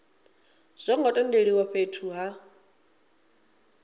zwo ngo tendelwa fhethu ha